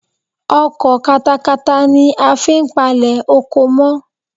Ọkọ̀ katakata ni a fi n palẹ̀ oko mọ́